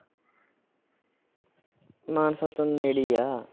ਮਾਨਸਾ ਤੋਂ ਨੇੜੇ ਹੀ ਆ।